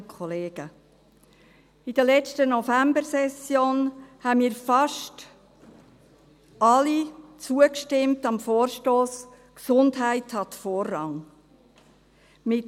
In der letzten Novembersession haben wir fast alle dem Vorstoss «Gesundheit hat Vorrang» () zugestimmt.